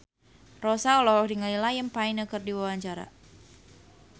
Rossa olohok ningali Liam Payne keur diwawancara